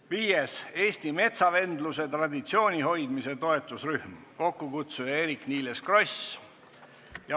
Viiendaks, Eesti metsavendluse traditsiooni hoidmise toetusrühm, kokkukutsuja on Eerik-Niiles Kross.